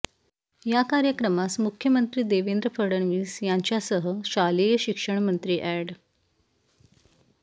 या कार्यक्रमास मुख्यमंत्री देवेंद्र फडणवीस यांच्यासह शालेय शिक्षणमंत्री एड